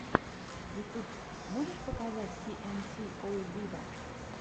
ютюб можешь показать си эн си оу виво